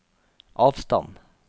avstand